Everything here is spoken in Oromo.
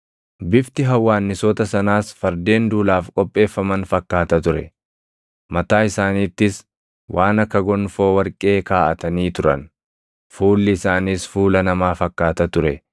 Bifti hawwaannisoota sanaas fardeen duulaaf qopheeffaman fakkaata ture. Mataa isaaniittis waan akka gonfoo warqee kaaʼatanii turan; fuulli isaaniis fuula namaa fakkaata ture.